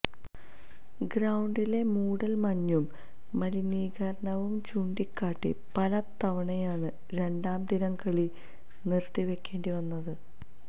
ഗ്രൌണ്ടിലെ മൂടൽ മഞ്ഞും മലിനീകരണവും ചൂണ്ടിക്കാട്ടി പല തവണയാണ് രണ്ടാം ദിനം കളി നിർത്തി വെക്കേണ്ടി വന്നത്